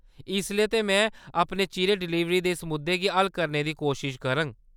इसलै ते, में अपनी चिरें डिलीवरी दे इस मुद्दे गी हल करने दी कोशश करङ।